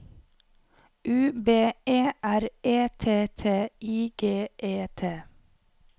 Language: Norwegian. U B E R E T T I G E T